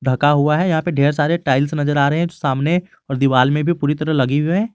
ढका हुआ है यहां पे ढेर सारे टाइल्स नजर आ रहे हैं सामने और दीवाल में भी पूरी तरह लगी हुए हैं।